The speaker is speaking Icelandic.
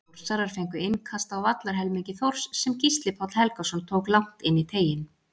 Þórsarar fengu innkast á vallarhelmingi Þórs sem Gísli Páll Helgason tók langt inn í teiginn.